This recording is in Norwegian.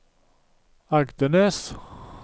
Agdenes